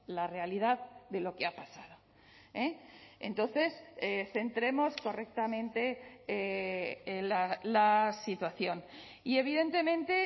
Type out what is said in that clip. la realidad de lo que ha pasado entonces centremos correctamente la situación y evidentemente